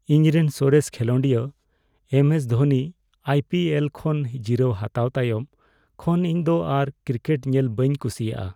ᱤᱧᱨᱮᱱ ᱥᱚᱨᱮᱥ ᱠᱷᱮᱞᱳᱰᱤᱭᱟᱹ ᱮᱢ ᱮᱥ ᱫᱷᱳᱱᱤ ᱟᱭᱹᱯᱤᱹᱮᱞ ᱠᱷᱚᱱ ᱡᱤᱨᱟᱹᱣ ᱦᱟᱛᱟᱣ ᱛᱟᱭᱚᱢ ᱠᱷᱚᱱ, ᱤᱧ ᱫᱚ ᱟᱨ ᱠᱨᱤᱠᱮᱴ ᱧᱮᱞ ᱵᱟᱹᱧ ᱠᱩᱥᱤᱭᱟᱜᱼᱟ ᱾